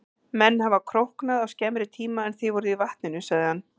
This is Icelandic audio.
Menn hafa króknað á skemmri tíma en þið voruð í vatninu, sagði hann.